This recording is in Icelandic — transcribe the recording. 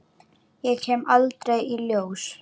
Ég kem aldrei í ljós.